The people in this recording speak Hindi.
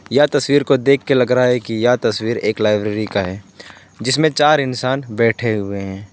यह तस्वीर को देखके लग रहा है कि यह तस्वीर एक लाइब्रेरी का है जिसमें चार इंसान बैठे हुए हैं।